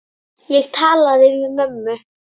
Nei takk.